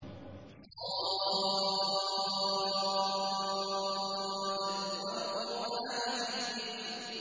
ص ۚ وَالْقُرْآنِ ذِي الذِّكْرِ